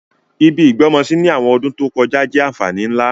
Ibi ìgbọ́mọsí ni àwọn ọdún to kojá jẹ́ ànfàní nlá.